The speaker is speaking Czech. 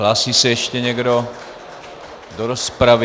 Hlásí se ještě někdo do rozpravy?